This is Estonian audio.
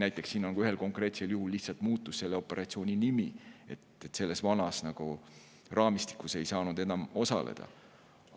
Näiteks siin ühel konkreetsel juhul lihtsalt muutus selle operatsiooni nimi, vanas raamistikus ei saanud enam osaleda.